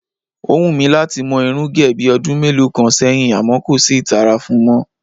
Ó wù mí láti mo̩ irún gè̩ bí o̩dún mélòó kan sé̩yìn àmó̩ kò sí ìtara fun mó̩